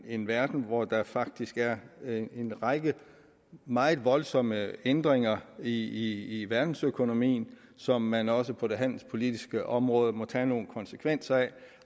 en verden hvori der faktisk er en række meget voldsomme ændringer i verdensøkonomien som man også på det handelspolitiske område må tage nogle konsekvenser af